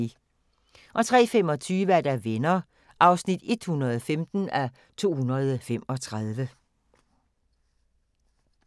03:25: Venner (115:235)